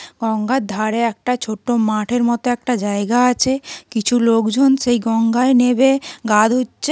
গঙ্গার ধারে একটা ছোট্ট মাঠের মতো একটা জায়গা আছে কিছু লোকজন সেই গঙ্গায় নেবে গা ধুচ্ছে।